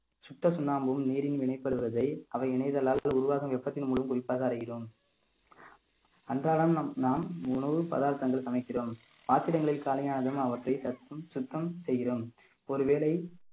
சுட்ட சுண்ணாம்பும் நீரின் வினைப்படுவதை அவை இணைதலால் உருவாகும் வெப்பத்தின் மூலம் குறிப்பாக அறிகிறோம் அன்றாடம் நாம் நாம் உணவு பதார்த்தங்கள் சமைக்கிறோம் பாத்திரங்களில் காலியானதும் அவற்றை சத்தம் சுத்தம் செய்கிறோம் ஒருவேளை